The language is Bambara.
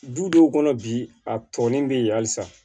Dudenw kɔnɔ bi a tɔnni bɛ yen halisa